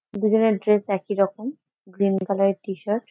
দুই জনের ড্রেস একই রকম গ্রিন কালার এর টি শার্ট ।